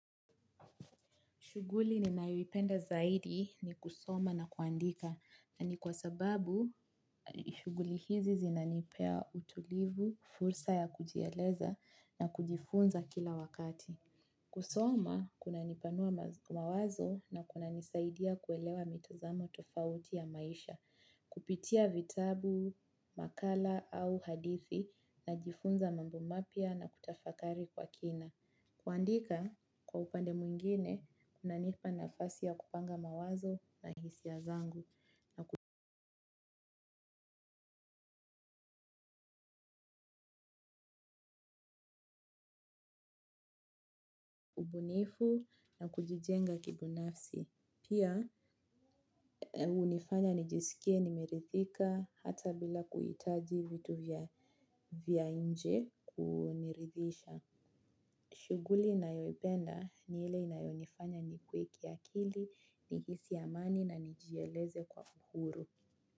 Shuguli ni naiwipenda zaidi ni kusoma na kuandika na ni kwa sababu shuguli hizi zinanipea utulivu, fursa ya kujieleza na kujifunza kila wakati. Kusoma, kuna nipanua mawazo na kuna nisaidia kuelewa mitazamo tofauti ya maisha, kupitia vitabu, makala au hadithi na jifunza mambo mapia na kutafakari kwa kina. Kuandika kwa upande mwingine unanipa nafasi ya kupanga mawazo na hisi ya zangu na ubunifu na kujijenga kibinafsi. Pia unifanya nijisikie nimerithika hata bila kuitaji vitu vya inje kunirithisha. Shuguli na yoipenda ni ile inayonifanya ni kwe kiakili ni hisi amani na nijieleze kwa uhuru.